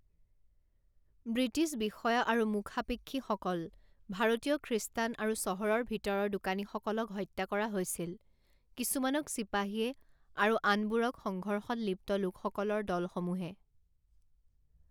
British বিষয়া আৰু মুখাপেক্ষীসকল, ভাৰতীয় খ্ৰীষ্টান আৰু চহৰৰ ভিতৰৰ দোকানীসকলক হত্যা কৰা হৈছিল, কিছুমানক চিপাহীয়ে আৰু আনবোৰক সংঘৰ্ষত লিপ্ত লোকসকলৰ দলসমূহে।